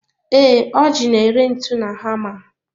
Ee, Ọji n'ere ntu na hama.